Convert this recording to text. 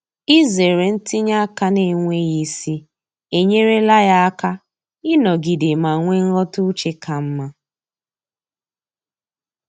Izere ntinye aka n'enweghị isi enyerela ya aka ịnọgide ma nwee nghọta uche ka mma.